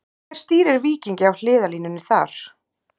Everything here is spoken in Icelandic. Hver stýrir Víkingi á hliðarlínunni þar?